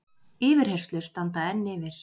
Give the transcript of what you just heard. Yfirheyrslur standa enn yfir